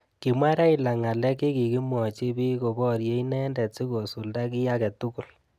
Kimwa Raila ngalek chekikimwochi bik ko borye inendet sikosulda ki age tugul.